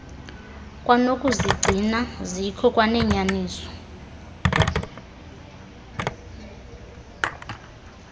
kwanokuzigcina zikho kwanenyaniso